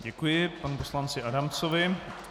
Děkuji panu poslanci Adamcovi.